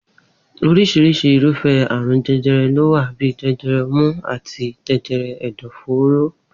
Orísirisi irúfé̩ àrùn je̩je̩re̩ ló wà bíi je̩je̩re̩ o̩mú àti je̩je̩re̩ è̩dò̩-fóró.